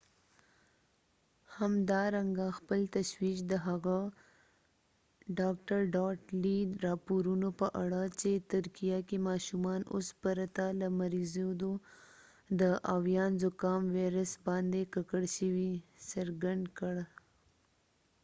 dr.lee همدارنګه خپل تشویش د هغه راپورونو په اړه چې په ترکیه کې ماشومان اوس پرته له مریضیدو د ah5n1 آویان زکام ویروس باندې ککړ شوي، څرګند کړ